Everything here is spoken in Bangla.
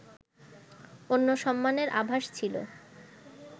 অন্য সম্মানের আভাস ছিল